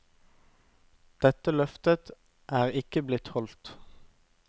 Dette løftet er ikke blitt holdt.